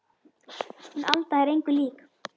Hún Alda er engu lík